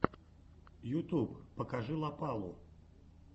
ютьюб покажи лопалу